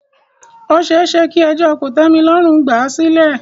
Ó ṣeéṣe kí ẹjọ́ kòtẹ́milọ́rùn gbà à sílẹ̀.